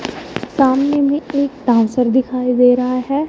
सामने में एक डांसर दिखाई दे रहा है।